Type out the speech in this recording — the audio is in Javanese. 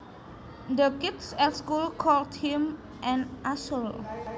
The kids at school called him an asshole